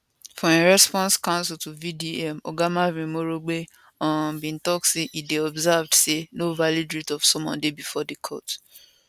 for im response counsel to vdm oga marvin omorogbe um bin tok say e dey observed say no valid writ of summon dey bifor di court